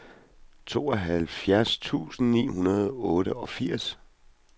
tooghalvfjerds tusind ni hundrede og otteogfirs